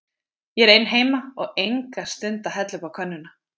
Ég er ein heima og enga stund að hella uppá könnuna.